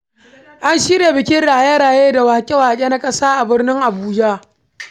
An shirya bikin raye-raye da waƙe-waƙe na ƙasa a birnin Abuja.